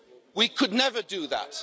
We could never do that.